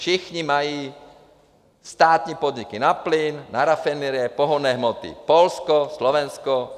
Všichni mají státní podniky na plyn, na rafinerie, pohonné hmoty: Polsko, Slovensko.